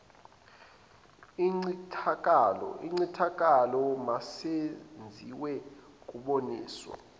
incithakalo masenziwe kuboniswana